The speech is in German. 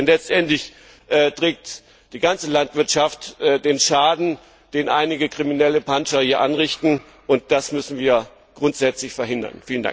Denn letztendlich trägt die ganze Landwirtschaft den Schaden, den einige kriminelle Panscher hier anrichten, und das müssen wir grundsätzlich verhindern!